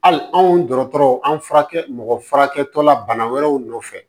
Hali anw dɔgɔtɔrɔ an furakɛ mɔgɔ furakɛtɔla bana wɛrɛw nɔfɛ